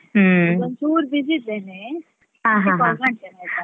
ಈಗೊಂಚೂರ್ busy ಇದ್ದೇನೆ ಮತ್ತೆ call ಮಾಡ್ತೇನೆ ಆಯ್ತಾ.